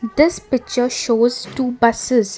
this picture shows two buses.